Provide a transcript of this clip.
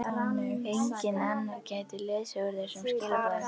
Enginn annar gæti lesið úr þessum skilaboðum.